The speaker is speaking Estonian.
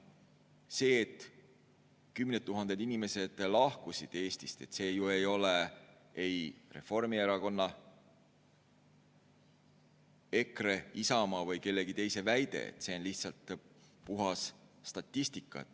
See, et kümned tuhanded inimesed lahkusid Eestist, ei ole ju Reformierakonna, EKRE, Isamaa või kellegi teise väide, see on lihtsalt puhas statistika.